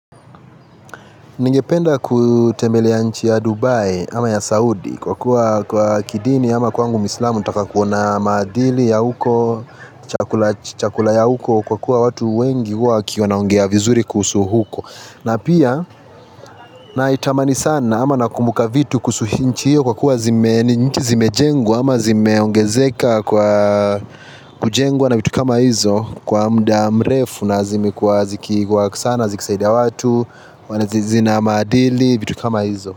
Ningependa kutembelea nchi ya Dubai ama ya Saudi kwa kuwa kwa kidini ama kwangu muislamu nataka kuona maadili ya huko, chakula ya huko kwa kuwa watu wengi huwa wakio naongea vizuri kuhusu huko na pia naitamani sana ama nakumbuka vitu kuhusu hinchi io kwa kuwa zime ni nchi zimejengwa ama zimeongezeka kwa kujengwa na vitu kama hizo kwa mda mrefu na zimekuwa zikiwork sana, zikisaida watu, wana zizi zina maadili, vitu kama hizo.